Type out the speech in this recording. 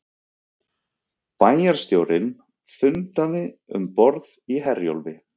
Bæjarstjórnin fundaði um borð í Herjólfi